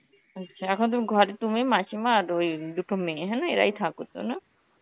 আচ্ছা এখন তুমি ঘরে তুমি, মাসিমা, আর ওই দুটো মেয়ে হ্যানা এরাই থাকোতো না?